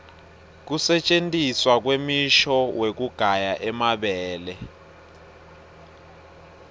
kusentjentiswa kwemishini wekugaya emabele